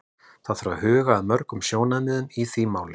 Það þarf að huga að mörgum sjónarmiðum í því máli.